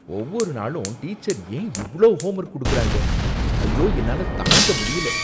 ஒவ்வொரு நாளும் டீச்சர் ஏன் இவ்ளோ ஹோம்வொர்க் குடுக்குறாங்க? ஐயோ, என்னால தாங்க முடியல.